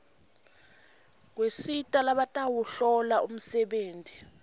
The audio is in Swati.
kusita labatawuhlola umsebenti